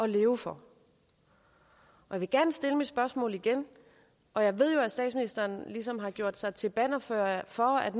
leve for jeg vil gerne stille mit spørgsmål igen og jeg ved jo at statsministeren ligesom har gjort sig til bannerfører for at